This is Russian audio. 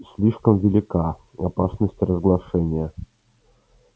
слишком велика опасность разглашения